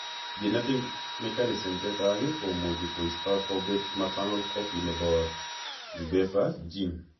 Genetic mechanisms chechang' komuch koisto kobet maternal copy nebo ube3a gene